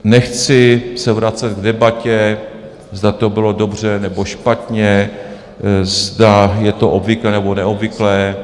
Nechci se vracet k debatě, zda to bylo dobře, nebo špatně, zda je to obvyklé, nebo neobvyklé.